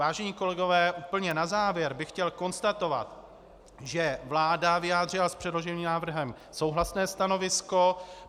Vážení kolegové, úplně na závěr bych chtěl konstatovat, že vláda vyjádřila s předloženým návrhem souhlasné stanovisko.